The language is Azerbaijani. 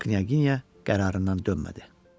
Knyaginya qərarından dönmədi.